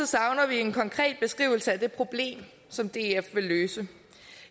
savner vi en konkret beskrivelse af det problem som df vil løse